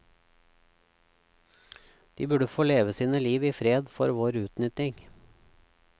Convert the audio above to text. De burde få leve sine liv i fred for vår utnytting.